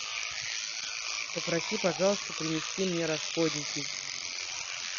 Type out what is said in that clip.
попроси пожалуйста принести мне расходники